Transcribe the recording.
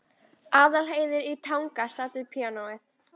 Aðalheiður í Tanga sat við píanóið.